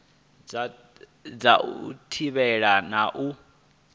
dza u thivhela na u